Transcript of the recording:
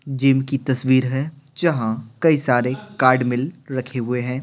Gym की तस्वीर है जहां कई सारे कार्ड मिल रखे हुए हैं।